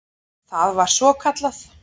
Það var svokallað